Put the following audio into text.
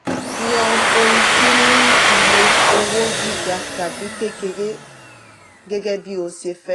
yan oun tí ní iye owo giga tàbí kekere gẹ́gẹ́ bí o ṣe fẹ.